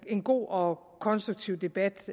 en god og konstruktiv debat